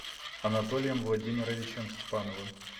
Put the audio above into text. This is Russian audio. анатолием владимировичем степановым